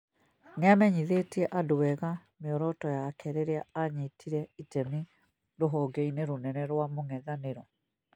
nĩamenyithaĩtie andũ wega mĩoroto yake rĩrĩa aanyitire itemi rũhonge-inĩ rũnene rwa mũng'ethanĩro